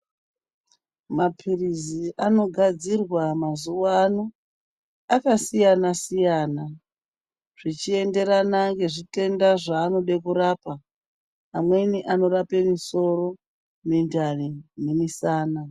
Mapilizi anogadzirwa mazuwano zvichienderana nezvitenda zvaanode kurapa. Mamweni anorape misoro, mundani nemusana.